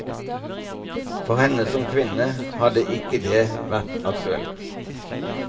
For henne som kvinne hadde ikke det vært aktuelt.